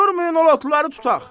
Durmayın o lotları tutaq!